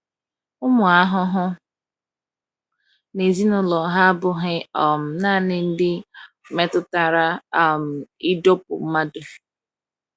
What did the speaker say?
Ụmụ ahụhụ na ezinụlọ ha abụghị um naanị ndị metụtara um ịdọkpụ mmadụ.